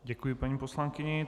Děkuji paní poslankyni.